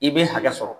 I bɛ hakɛ sɔrɔ